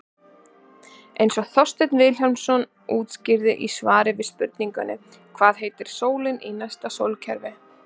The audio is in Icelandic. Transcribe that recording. Eins og Þorsteinn Vilhjálmsson útskýrir í svari við spurningunni Hvað heitir sólin í næsta sólkerfi?